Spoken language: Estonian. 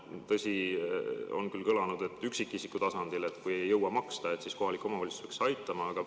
Tõsi, on küll kõlanud, et üksikisiku tasandil, kui ei jõua maksta, siis kohalik omavalitsus peaks aitama.